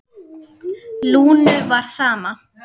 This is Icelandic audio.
Lúnu var sama.